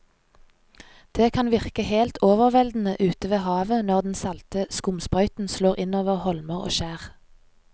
Det kan virke helt overveldende ute ved havet når den salte skumsprøyten slår innover holmer og skjær.